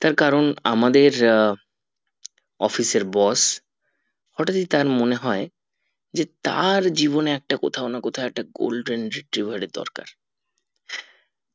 তার কারণ আমাদের আহ office এর boss হটাৎ ই তার মনে হয় যে তার জীবনে একটা কোথাও না কোথাও একটা golden retriever এর দরকার